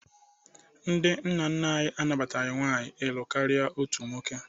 Ndị nna nna anyị anabataghị nwaanyị ịlụ karịa otu nwoke